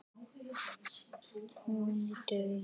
Þín og afa.